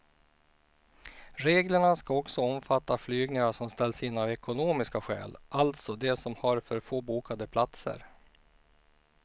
Reglerna ska också omfatta flygningar som ställs in av ekonomiska skäl, alltså de som har för få bokade platser.